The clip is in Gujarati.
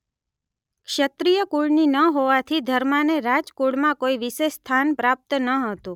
ક્ષત્રિય કુળની ન હોવાથી ધર્માને રાજકુળમાં કોઈ વિશેષ સ્થાન પ્રાપ્ત ન હતું